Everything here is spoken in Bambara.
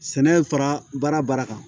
Sɛnɛ fara baara baara kan